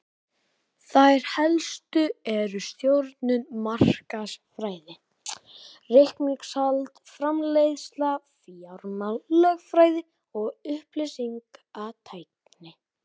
Þær helstu eru stjórnun, markaðsfræði, reikningshald, framleiðsla, fjármál, lögfræði og upplýsingatækni.